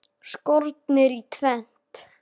Skornir í tvennt.